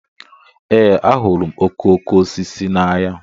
Ee, ahụrụ m okooko osisi n'anya.